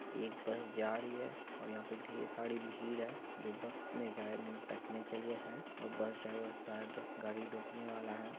एक बस जा रही है और यहा पे ढ़ेर सारी भीड़ है जो बस में जा-- बैठने के लिए है और बस ड्राइवर शायद गाड़ी रोकने वाला है ।